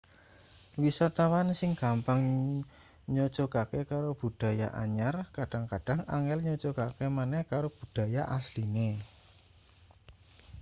wisatawan sing gampang nyocogake karo budaya anyar kadhang-kadhang angel nyocogake maneh karo budaya asline